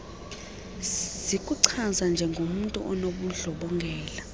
zikuchaza njengomntu onobundlobongela